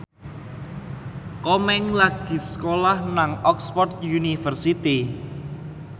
Komeng lagi sekolah nang Oxford university